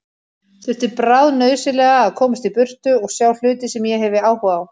Þurfti bráðnauðsynlega að komast í burtu og sjá hluti sem ég hefi áhuga á.